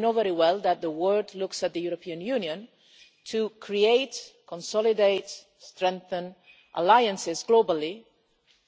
And we know very well that the world looks at the European Union to create, consolidate and strengthen alliances globally